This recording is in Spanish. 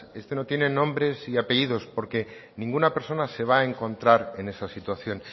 este no tiene nombres y apellidos porque ninguna persona se va a encontrar en esa situación